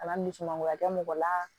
Kana ni dusumagoya kɛ mɔgɔ la